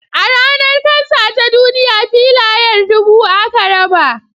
A Ranar kansa ta duniya filayar dubu aka raba